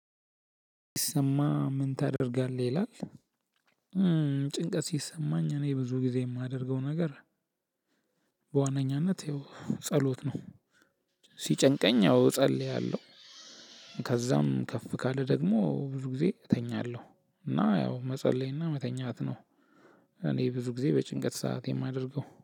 ይሰማ ምን ታደርጋለህ ይላል? ጭንቀት ሲሰማኝ እኔ ብዙ ጊዜ የማደርገው ነገር። በዋነኛነት ይኸው ጸሎት ነው። ሲጨንቀኝ ያው እጸልያለሁ። ከዛም ከፍ ካለ ደግሞ ብዙ ጊዜ እተኛለሁ። እና ያው መጸለይና መተኛት ነው። እኔ ብዙ ጊዜ በጭንቀት ሰዓት የማደርገው